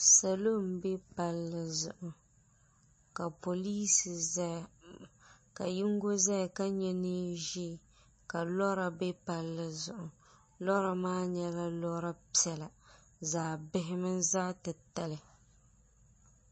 Salo m-be palli zuɣu ka polinsi zaya ka yiŋga zaya ka ye neen'ʒee ka lora be palli zuɣu lora maa nyɛla lora piɛla zaɣ'bihi mini zaɣ'titali.